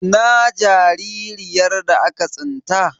Ina jaririyar da aka tsinta?